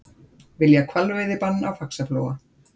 Vilja hvalveiðibann á Faxaflóa